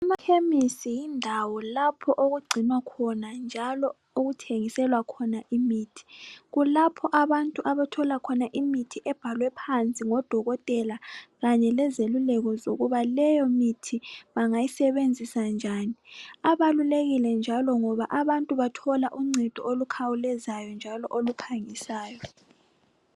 Amakhemisi yindawo lapho okugcinwa khona njalo okuthengiselwa khona imithi. Kulapho abantu abathola khona imithi ebhalwe phansi ngodokotela kanye lezeluleko zokuba leyo mithi bangayisebenzisa njani. Abalulekile njalo ngoba abantu bathola uncedo olukhawulezayo njalo oluphangisayo.